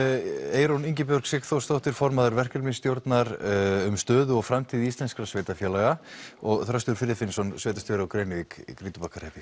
Eyrún Ingibjörg Sigþórsdóttir formaður verkefnisstjórnar um stöðu og framtíð íslenskra sveitarfélaga og Þröstur Friðfinnsson sveitarstjóri á Grenivík í Grýtubakkahreppi